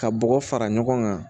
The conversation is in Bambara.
Ka bɔgɔ fara ɲɔgɔn kan